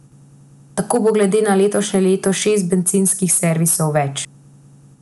Tako bo glede na letošnje leto šest bencinskih servisov več.